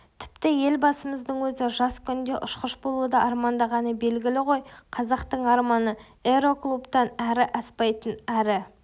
тіпті елбасымыздың өзі жас күнінде ұшқыш болуды армандағаны белгілі ғой қазақтың арманы аэроклубтан ары аспайтын ары